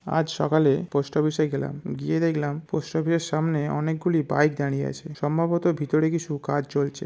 আজ সকালে post office এ গেলাম। গিয়ে দেখলাম পোস্ট অফিস এর সামনে অনেক গুলি বাইক দাঁড়িয়ে আছে। সম্ভবত ভিতরে কিছু কাজ চলছে।